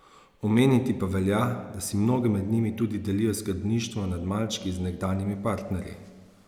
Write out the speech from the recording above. Omeniti pa velja, da si mnoge med njimi tudi delijo skrbništvo nad malčki z nekdanjimi partnerji.